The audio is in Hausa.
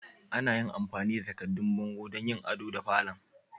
Ana amfani da takaddun bango don yin ado da falon.